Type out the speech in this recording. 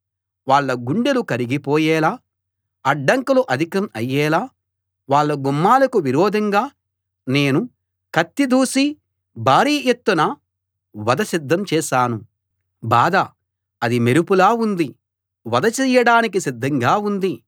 వాళ్ళ గుండెలు కరిగిపోయేలా అడ్డంకులు అధికం అయ్యేలా వాళ్ళ గుమ్మాలకు విరోధంగా నేను కత్తి దూసి భారీ ఎత్తున వధ సిద్ధం చేశాను బాధ అది మెరుపులా ఉంది వధ చెయ్యడానికి సిద్ధంగా ఉంది